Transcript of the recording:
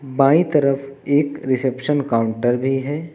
बांई तरफ एक reception counter भी है।